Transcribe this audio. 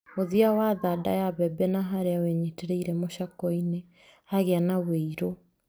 Mũthia wa thanda ya mbembe na harĩa wĩnyitĩrĩire mũcakwe-inĩ hagĩa na ũirũ.